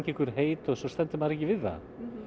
heit en svo stendur maður ekki við það